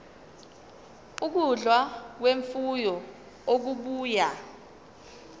ukudla kwemfuyo okubuya